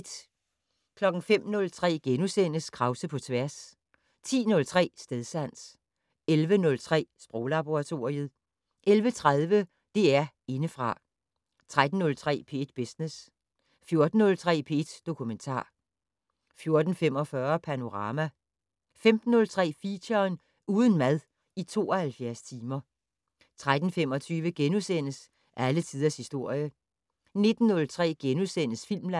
05:03: Krause på tværs * 10:03: Stedsans 11:03: Sproglaboratoriet 11:30: DR Indefra 13:03: P1 Business 14:03: P1 Dokumentar 14:45: Panorama 15:03: Feature: Uden mad i 72 timer 18:25: Alle tiders historie * 19:03: Filmland *